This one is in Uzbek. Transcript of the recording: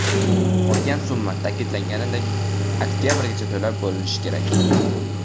Qolgan summa, ta’kidlanganidek, oktyabrgacha to‘lab bo‘linishi kerak.